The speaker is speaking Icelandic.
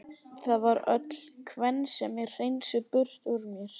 Það var öll kvensemi hreinsuð burt úr mér.